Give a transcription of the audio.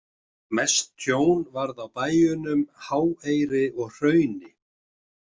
Mest tjón varð á bæjunum Háeyri og Hrauni.